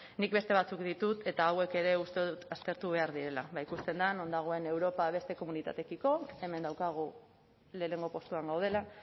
nik beste batzuk ditut eta hauek ere uste dut aztertu behar direla eta ikusten da non dagoen europa beste komunitatetiko hemen daukagu lehenengo postuan gaudela